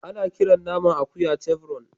Ana kiran naman akuya chevron.